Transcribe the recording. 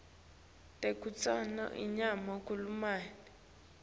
tekutsenga inyama kulamanye